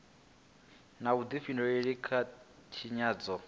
na vhudifhinduleli kha u tshinyadzwa